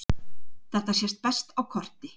Þetta sést best á korti.